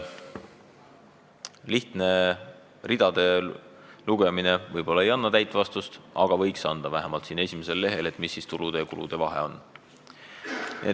Lihtne ridade lugemine võib-olla ei anna täit vastust, aga võiks näha olla vähemalt siin esimesel lehel, mis ikkagi tulude ja kulude vahe on.